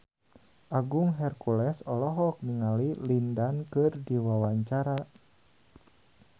Agung Hercules olohok ningali Lin Dan keur diwawancara